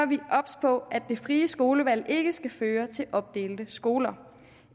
vi obs på at det frie skolevalg ikke skal føre til opdelte skoler